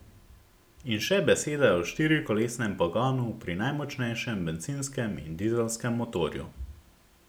In še beseda o štirikolesnem pogonu pri najmočnejšem bencinskem in dizelskem motorju.